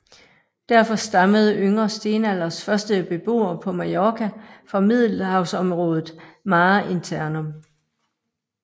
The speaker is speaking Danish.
Derfor stammede yngre stenalders første beboere på Mallorca fra Middelhavsområdet mare internum